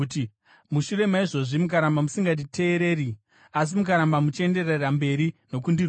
“ ‘Mushure maizvozvi, mukaramba musinganditeereri asi mukaramba muchienderera mberi nokundirwisa,